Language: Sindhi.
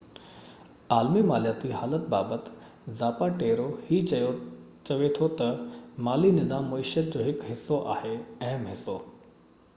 عالمي مالياتي حالت بابت زاپاٽيرو هي چوي ٿو تہ مالي نظام معيشيت جو هڪ حصو آهي اهم حصو